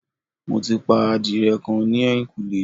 Mo ti pa adìrẹ kan ní ẹ̀yìnkùlé